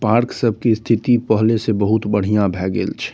Park सबके स्थिति पहले से बहुत बढ़िया भए गेल छै।